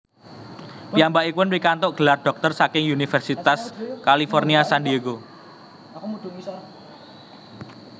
Piyambakipun pikantuk gelar dhoktor saking Universitas California San Diego